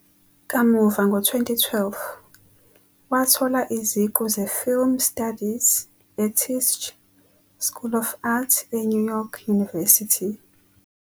Kamuva ngo-2012, wathola iziqu ze-Film Studies eTisch School of Arts eNew York University.